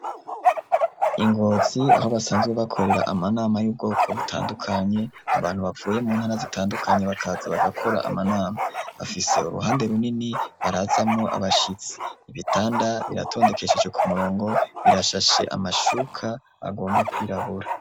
INgotzi aho basanzwe bakorera amanama y'ubwoko butandukanye, abantu bavuye mu ntara zitandukanye bakaza bagakora amanama afise uruhande runini barazamwo abashitsi ibitanda biratondekesheje ku murongo birashashe amashuka agomba kwirabura.